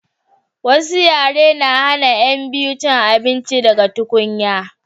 wasu yare na hana yan biyu cin abinci daga tukunya